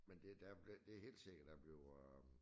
Men det der det det helt sikkert der bliver øh